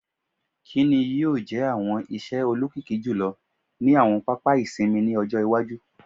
“Kini yoo jẹ awọn iṣẹ olokiki julọ ni awọn papa isinmi ni ọjọ iwaju? "